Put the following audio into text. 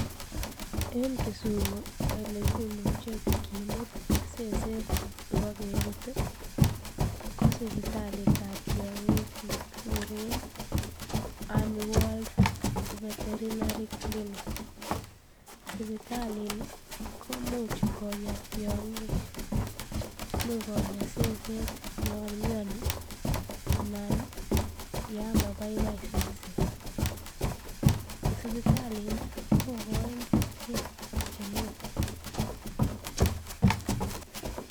En Kisumu elekimuche kimut seset ibokerut ko sipitalitab tiong'ik nekikuren Aniworld Veterinary Clinic, sipitalini komuch konya tiong'ik, imuch konya seset yoon mioni anan yoon mabaibai seset, sipitalini kokoin kerichek chenin.